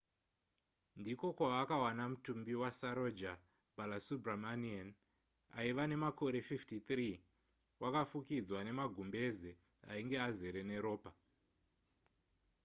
ndiko kwavakawana mutumbi wasaroja balasubramanian aiva nemakore 53 wakafukidzwa nemagumbeze ainge azere neropa